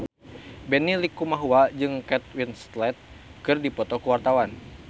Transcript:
Benny Likumahua jeung Kate Winslet keur dipoto ku wartawan